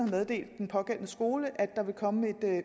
meddele den pågældende skole at der vil komme et